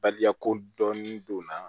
Baliya ko dɔni donnaa